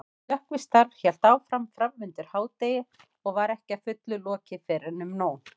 Slökkvistarf hélt áfram framundir hádegi og var ekki að fullu lokið fyrren um nón.